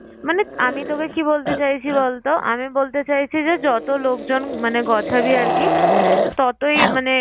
মানে আমি তোকে কি বলতে চাইছি বলতো? আমি বলতে চাইছি যে যত লোকজন মানে গোছাবি আরকি ততই মানে